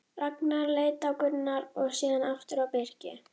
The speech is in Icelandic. Ragnar leit á Gunnar og síðan aftur á Birki.